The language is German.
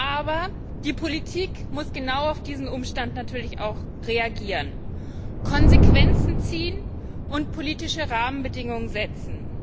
Aber die Politik muss genau auf diesen Umstand natürlich auch reagieren, Konsequenzen ziehen und politische Rahmenbedingungen setzen.